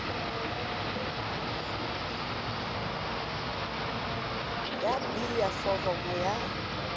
ya b ya foromo ya